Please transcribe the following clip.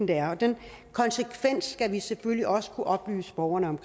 være den konsekvens skal vi selvfølgelig også kunne oplyse borgerne om